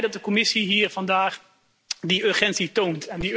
Ik ben ook blij dat de Commissie hier vandaag die urgentie toont.